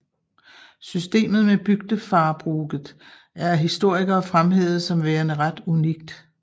Systemet med bygdefarbruket er af historikere fremhævet som værende ret unikt